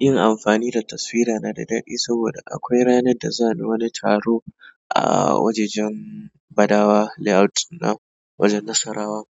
Yin amfani da taswira na da daɗi saboda akwai ranar da zani wani taro a wajajen Badawa Layout na wajen Nasarawa.